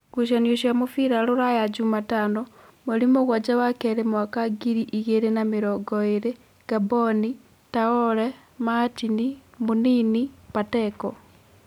ngucanio cia mũbira Ruraya Jumatano: mweri mũgwanja wa keerĩ mwaka ngiri igĩrĩ na mĩrongoĩrĩ: Ngamboni, Taore, Matini, Mũnini, Pateko